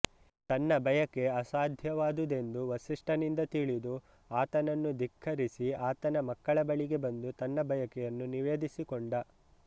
ತನ್ನ ಬಯಕೆ ಅಸಾಧ್ಯವಾದುದೆಂದು ವಸಿಷ್ಠನಿಂದ ತಿಳಿದು ಆತನನ್ನು ಧಿಕ್ಕರಿಸಿ ಆತನ ಮಕ್ಕಳ ಬಳಿಗೆ ಬಂದು ತನ್ನ ಬಯಕೆಯನ್ನು ನಿವೇದಿಸಿಕೊಂಡ